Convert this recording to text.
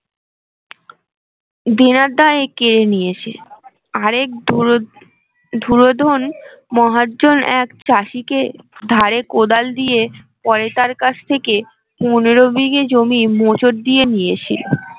দেনার দায়ে কেড়ে নিয়েছে আরেক ধুরোধন মহাজন এক চাষীকে ধারে কোদাল দিয়ে পয়তার কাছ থেকে পনেরো বিঘে জমি মোচর দিয়ে নিয়েছে